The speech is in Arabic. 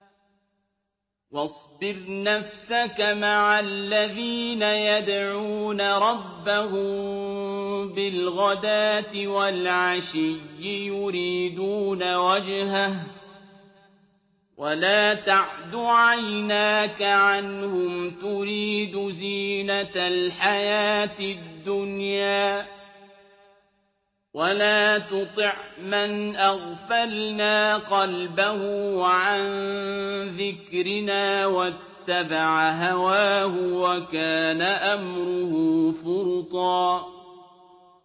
وَاصْبِرْ نَفْسَكَ مَعَ الَّذِينَ يَدْعُونَ رَبَّهُم بِالْغَدَاةِ وَالْعَشِيِّ يُرِيدُونَ وَجْهَهُ ۖ وَلَا تَعْدُ عَيْنَاكَ عَنْهُمْ تُرِيدُ زِينَةَ الْحَيَاةِ الدُّنْيَا ۖ وَلَا تُطِعْ مَنْ أَغْفَلْنَا قَلْبَهُ عَن ذِكْرِنَا وَاتَّبَعَ هَوَاهُ وَكَانَ أَمْرُهُ فُرُطًا